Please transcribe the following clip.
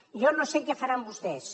jo no sé què faran vostès